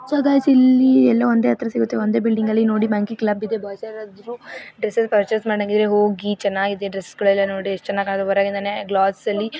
so guys ಇಲ್ಲಿ ಎಲ್ಲಾ ಒಂದೇ ಹತ್ರ ಸಿಗುತ್ತೆ ಒಂದೇ ಬಿಲ್ಡಿಂಗ್ ಅಲ್ಲಿ ನೋಡಿ ಕ್ಲಬ್ ಇದೆ ಗಾಯ್ಸ್ ಯಾರಾದ್ರೂ ಡ್ರೆಸ್ ಪರ್ಚೆಸ್ ಮಾಡಂಗಿದ್ರೆ ಹೋಗಿ ಚೆನ್ನಾಗಿದೆ ಡ್ರೆಸ್ ಗಳೆಲ್ಲ ನೋಡಿ ಎಷ್ಟ್ ಚನ್ನಾಗಿ ಹೊರಗಿಂದನೇ ಗ್ಲಾಸ್ ಅಲ್ಲಿ--